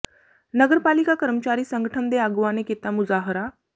ਨਗਰ ਪਾਲਿਕਾ ਕਰਮਚਾਰੀ ਸੰਗਠਨ ਦੇ ਆਗੂਆਂ ਨੇ ਕੀਤਾ ਮੁਜ਼ਾਹਰਾ